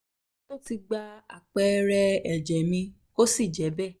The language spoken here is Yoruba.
ó ti gba um àpẹẹrẹ ẹ̀jẹ̀ mi kò sì je be